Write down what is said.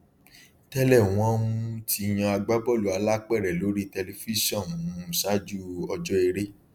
tẹlẹ wọn um ti yan agbábọọlù alápèrẹ lórí tẹlifíṣàn um ṣáájú ọjọ eré